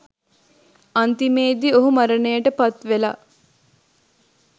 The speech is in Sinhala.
අන්තිමේදී ඔහු මරණයට පත්වෙලා